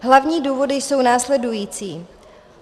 Hlavní důvody jsou následující.